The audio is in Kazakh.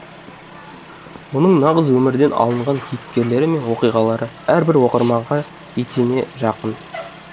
оның нағыз өмірден алынған кейіпкерлері мен оқиғалары әрбір оқырманға етене жақын